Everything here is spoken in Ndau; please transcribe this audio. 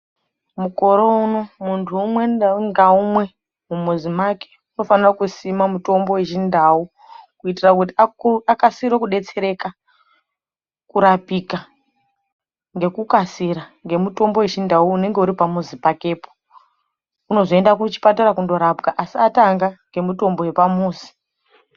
Mukore uno muntu umwe ndau ngaumwe mumuzi mwake unofanire kusima mutombo wechindau kuitire kuti akukasire kudetsereka kurapika ngekukasira ngemutombo wechindau unenge uri pamuzi pakepo unozoende kuchipatara kundorapwa asi atanga ngemitombo yepamuzi.